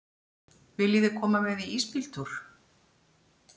Viljiði koma með í ísbíltúr?